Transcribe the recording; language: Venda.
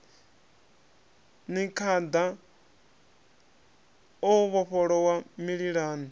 ni khada o vhofholowa mililani